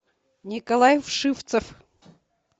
николай вшивцев